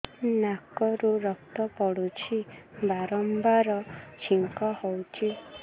ନାକରୁ ରକ୍ତ ପଡୁଛି ବାରମ୍ବାର ଛିଙ୍କ ହଉଚି